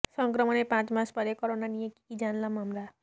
সংক্রমণের পাঁচ মাস পরে করোনা নিয়ে কী কী জানলাম আমরা